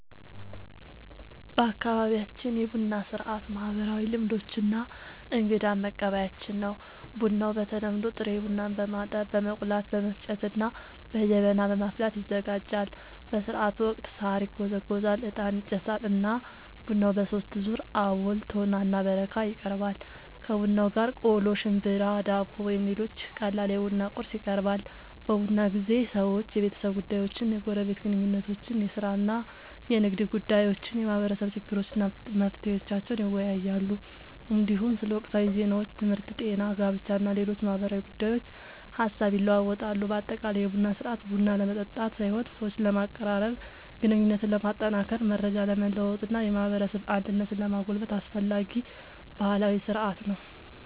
በአካባቢያችን የቡና ሥርዓት ማህበራዊ ልምዶች እና እንግዳን መቀበያችን ነው። ቡናው በተለምዶ ጥሬ ቡናን በማጠብ፣ በመቆላት፣ በመፍጨት እና በጀበና በማፍላት ይዘጋጃል። በሥርዓቱ ወቅት ሣር ይጎዘጎዛል፣ ዕጣን ይጨሳል እና ቡናው በሦስት ዙር (አቦል፣ ቶና እና በረካ) ይቀርባል። ከቡናው ጋር ቆሎ፣ ሽምብራ፣ ዳቦ ወይም ሌሎች ቀላል የቡና ቁርስ ይቀርባል። በቡና ጊዜ ሰዎች የቤተሰብ ጉዳዮችን፣ የጎረቤት ግንኙነቶችን፣ የሥራ እና የንግድ ጉዳዮችን፣ የማህበረሰብ ችግሮችን እና መፍትሄዎቻቸውን ይወያያሉ። እንዲሁም ስለ ወቅታዊ ዜናዎች፣ ትምህርት፣ ጤና፣ ጋብቻ እና ሌሎች ማህበራዊ ጉዳዮች ሐሳብ ይለዋወጣሉ። በአጠቃላይ የቡና ሥርዓት ቡና ለመጠጣት ሳይሆን ሰዎችን ለማቀራረብ፣ ግንኙነትን ለማጠናከር፣ መረጃ ለመለዋወጥ እና የማህበረሰብ አንድነትን ለማጎልበት አስፈላጊ ባህላዊ ሥርዓት ነው።